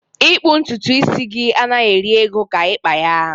ịkpu ntutu isi gị anaghị eri ego ka ịkpa ya